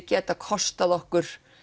geti kostað okkur